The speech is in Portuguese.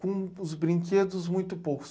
com os brinquedos muito poucos.